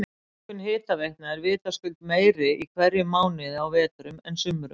Notkun hitaveitna er vitaskuld meiri í hverjum mánuði á vetrum en sumrum.